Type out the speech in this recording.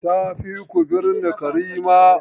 Tafi ku binne Karima!